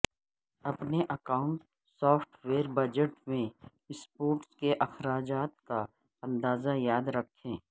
اپنے accounting software budget میں support کے اخراجات کا اندازہ یاد رکھیں